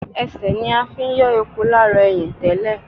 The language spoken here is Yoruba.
Ẹsẹ̀ ní a fi ń yọ epo lára ẹyìn tẹ́lẹ̀